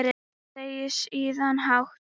Segir síðan hátt